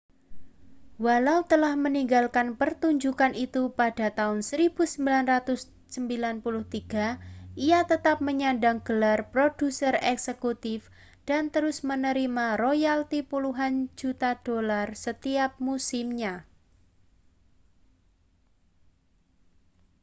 walaupun telah meninggalkan pertunjukan itu pada tahun 1993 ia tetap menyandang gelar produser eksekutif dan terus menerima royalti puluhan juta dolar setiap musimnya